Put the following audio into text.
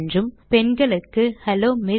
என்றும் பெண்களுக்கு hello MS